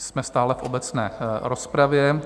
Jsme stále v obecné rozpravě.